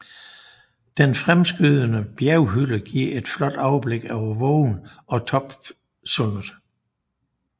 Den fremskydende bjerghylde giver et flot overblik over vågen og Toppsundet